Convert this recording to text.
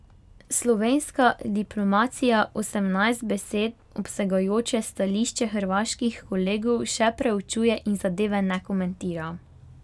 Slovenska diplomacija osemnajst besed obsegajoče stališče hrvaških kolegov še preučuje in zadeve ne komentira.